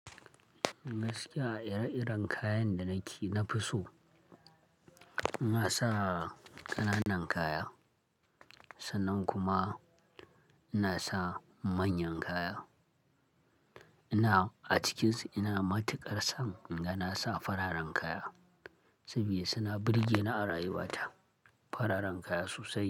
Gaskiya ire-iren kayan da nake, na fi so. Ina sa ƙananan kaya sannan kuma ina sa manyan kaya. Ina a cikin su ina matuƙar son inga nasa fararen kaya, saboda suna burge ni a rayuwata, fararen kaya sosai.